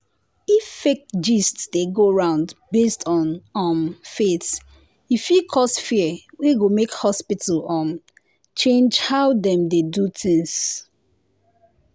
if fake gist dey go round based on um faith e fit cause fear wey go make hospital um change how dem dey do things.